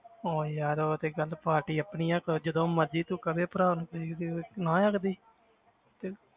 ਹੁਣ ਯਾਰ ਉਹ ਤੇ ਗੱਲ ਪਾਰਟੀ ਆਪਣੀ ਆਂ ਕ~ ਜਦੋਂ ਮਰਜ਼ੀ ਤੂੰ ਕਦੇ ਭਰਾ ਨੂੰ ਨਾਂਹ ਆਂ ਕਦੇ